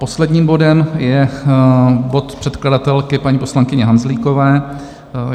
Posledním bodem je bod předkladatelky paní poslankyně Hanzlíkové.